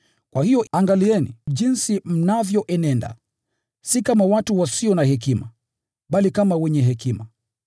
Kwa hiyo angalieni sana jinsi mnavyoenenda, si kama watu wasio na hekima, bali kama wenye hekima,